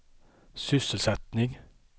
sysselsättning